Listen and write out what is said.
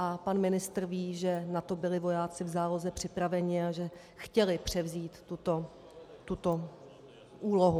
A pan ministr ví, že na to byli vojáci v záloze připraveni a že chtěli převzít tuto úlohu.